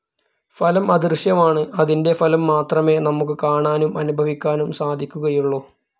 ഫലം അദൃശ്യമാണ് അതിൻ്റെ ഫലം മാത്രമേ നമുക്ക് കാണാനും അനുഭവിക്കാനും സാധിക്കുകയുള്ളൂ.